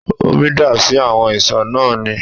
Omi dà sí àwọn ìṣó náà ni